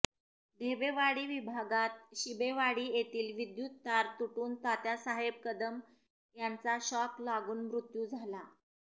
ढेबेवाडी विभागात शिबेवाडी येथील विद्युत तार तुटून तात्यासाहेब कदम यांचा शॉक लागून मृत्यू झाला